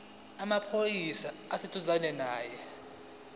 samaphoyisa esiseduzane nawe